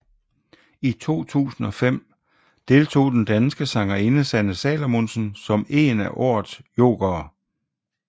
I 2005 deltog den danske sangerinde Sanne Salomonsen som en af året jokere